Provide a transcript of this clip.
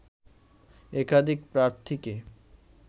একাধিক প্রার্থীকে